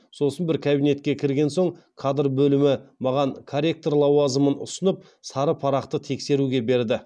сосын бір кабинетке кірген соң кадр бөлімі маған корректор лауазымын ұсынып сары парақты тексеруге берді